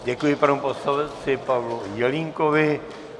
Děkuji panu poslanci Pavlu Jelínkovi.